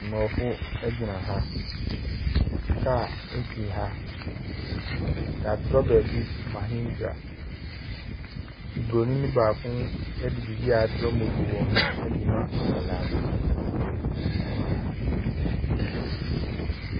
Aborɔfo gyina ha. Kaa si ha. Wɔatwerɛ baabi Mahindra. Buroni baako de biribi a wɔatwerɛ motor wɔ ho de rema akwadaa bi wɔ ha.